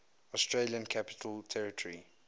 australian capital territory